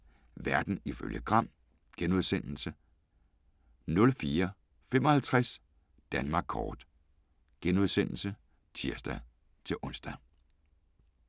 00:05: Verden ifølge Gram * 04:55: Danmark kort *(tir-ons)